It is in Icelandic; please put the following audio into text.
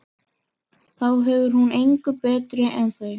Þá er hún engu betri en þau.